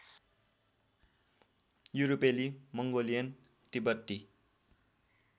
युरोपेली मङ्गोलियन तिब्बती